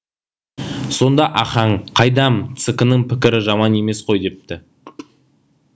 сонда ахаң қайдам цк ның пікірі жаман емес қой депті